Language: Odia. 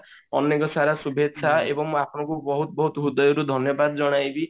ଅନେକ ସାରା ସୁବେଚ୍ଚ୍ହା ଏବଂ ଆପଣଙ୍କୁ ବହୁତ ବହୁତ ହୃଦୟରୁ ଧନ୍ୟବାଦ ଜଣାଇବି